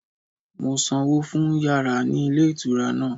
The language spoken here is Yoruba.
Mo sanwó fún yàrá ní ilé ìtura náà